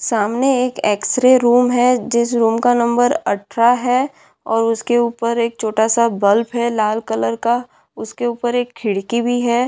सामने एक X-ray room है जिस रूम का नंबर अठारह है और उसके ऊपर एक छोटा-सा बल्ब है लाल कलर का उसके ऊपर एक खिड़की भी है।